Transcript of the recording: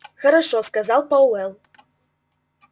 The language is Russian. хорошо сказал пауэлл